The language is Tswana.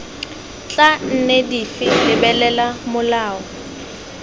tla nne dife lebelela molao